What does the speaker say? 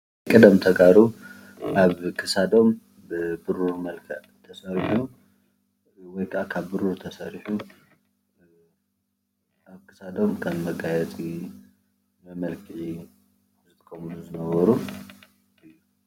ቀደም ተጋሩ ኣብ ክሳዶም ብብሩር መልክዕ ተሰሪሑ ወይ ከዓ ካብ ብሩር ተሰሪሑ ኣብ ክሳዶም ከም መጋየፂ መመልክዒ ዝጥቀምሉ ዝነበሩ ፡፡